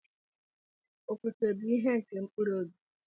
Ofufe bu ihe nke mkpụrụ obi.